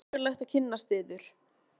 Það var ánægjulegt að kynnast yður.